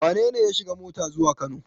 Wane ne ya shiga mota zuwa Kano?